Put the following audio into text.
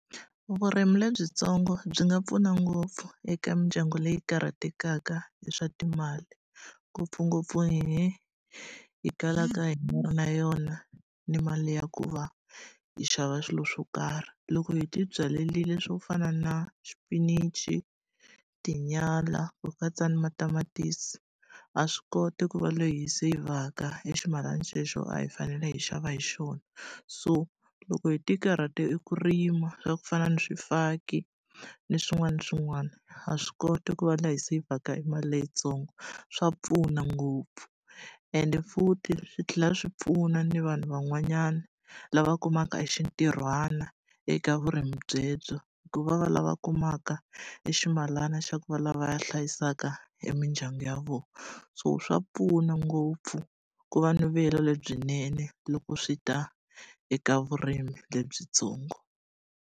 Vurimi lebyitsongo byi nga pfuna ngopfu eka mindyangu leyi karhatekaka hi swa timali, ngopfungopfu hehe hi kalaka hi nga ri na yona ni mali ya ku va hi xava swilo swo karhi. Loko hi tibyarile swo fana na xipinichi, tinyala, ku katsa ni matamatisi, ha swi koti ku va leyi hi seyivhaka e ximalana xexo a hi fanele hi xava hi xona. So loko hi tikarhatela eku rima swa ku fana na swifaki, ni swin'wana na swin'wana, ha swi koti ku va lava hi seyivheka e mali leyitsongo. Swa pfuna ngopfu. Ende futhi swi tlhela swi pfuna na vanhu van'wanyana, lava kumaka hi xintirhwana eka vurimi byebyo. Ku va va lava kumaka e ximalana xa ku va lava va hlayisaka e mindyangu ya vona. So swa pfuna ngopfu ku va ni vuyelo lebyinene loko swi ta eka vurimi lebyitsongo.